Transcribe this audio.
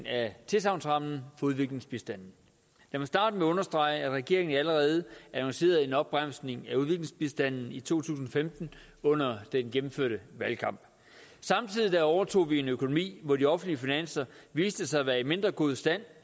af tilsagnsrammen for udviklingsbistanden jeg vil starte med at understrege at regeringen allerede annoncerede en opbremsning i udviklingsbistanden i to tusind og femten under den gennemførte valgkamp samtidig overtog vi en økonomi hvor de offentlige finanser viste sig at være i mindre god stand